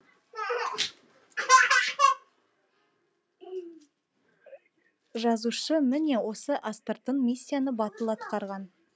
жазушы міне осы астыртын миссияны батыл атқарған